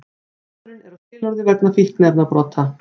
Maðurinn er á skilorði vegna fíkniefnabrota